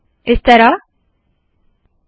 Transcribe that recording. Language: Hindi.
इस तरह से कीजिये